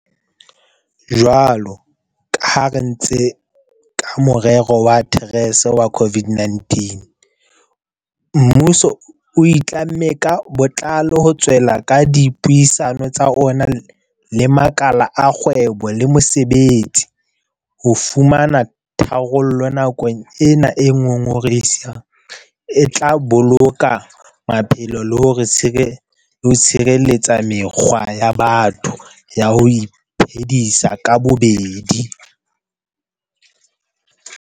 Jwalo ka ha re entse ka morero wa TERS wa COVID-19, mmuso o itlamme ka botlalo ho tswella ka dipuisano tsa ona le makala a kgwebo le mosebetsi ho fumana tharollo nakong ena e ngongorehisang e tla boloka maphelo le ho tshireletsa mekgwa ya batho ya ho iphedisa ka bobedi.